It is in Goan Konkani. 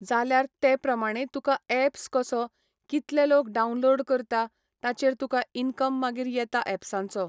जाल्यार तेप्रमाणे तुका एप्स कसो, कितले लोक डाउनलोड करता, ताचेर तुका इन्कम मागीर येता एप्सांचो.